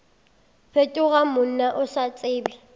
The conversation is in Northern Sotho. fetoga monna o sa tsebe